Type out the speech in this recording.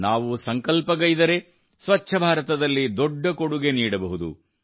ನಾವು ಸಂಕಲ್ಪಗೈದರೆ ಸ್ವಚ್ಛ ಭಾರತದಲ್ಲಿ ದೊಡ್ಡ ಕೊಡುಗೆ ನೀಡಬಹುದು